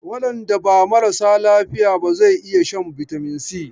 Waɗanda ba marasa lafiya ba zau iya shan bitamin Si.